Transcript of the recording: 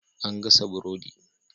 An gasa burodi.